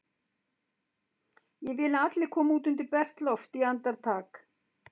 Ég vil að allir komi út undir bert loft í andartak!